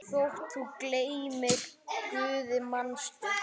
Þótt þú gleymir Guði, manstu?